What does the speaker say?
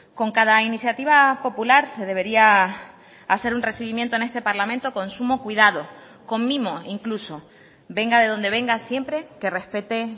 con cada iniciativa popular se debería hacer un recibimiento en este parlamento con sumo cuidado con mimo incluso venga de donde venga siempre que respete